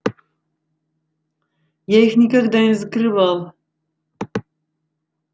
я их никогда не закрывал